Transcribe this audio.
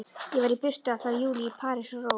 Ég var í burtu allan júlí, í París og Róm.